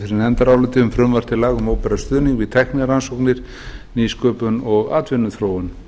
fyrir nefndaráliti um frumvarp til laga um opinberan stuðning við tæknirannsóknir nýsköpun og atvinnuþróun